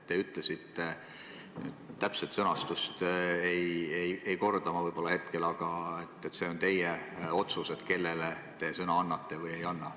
Te ütlesite – täpset sõnastust ma võib-olla hetkel ei korda –, et see on teie otsus, kellele te sõna annate või ei anna.